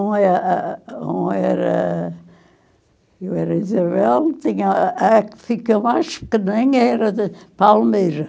Uma, ah, ah, uma era... era Isabel, tinha a que ficou mais era Palmeira.